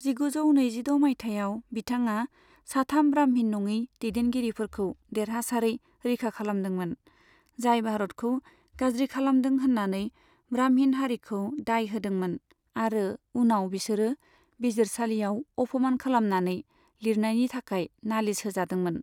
जिगुजौ नैजिद' माइथायाव, बिथाङा साथाम ब्राह्मिन नंङै दैदेनगिरिफोरखौ देरहासारै रैखा खालामदोंमोन, जाय भारतखौ गाज्रि खालामदों होननानै ब्राह्मिन हारिखौ दाय होदोंमोन आरो उनाव बिसोरो बिजिरसालियाव अफमान खालामनानै लिरनायनि थाखाय नालिस होजादोंमोन।